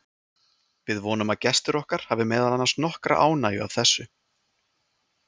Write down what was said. Við vonum að gestir okkar hafi meðal annars nokkra ánægju af þessu.